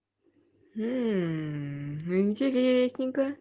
интересненько